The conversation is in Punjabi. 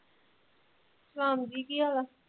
ਸਲਾਮ ਜੀ ਕੀ ਹਾਲ ਆ